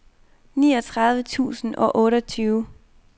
niogtredive tusind og otteogtyve